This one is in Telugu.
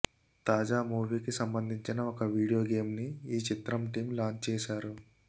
తాజా ఈ మూవీకి సంబందించిన ఒక వీడియో గేమ్ ని ఈ చిత్ర టీం లాంచ్ చేసారు